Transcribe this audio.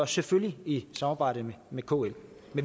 selvfølgelig i samarbejde med kl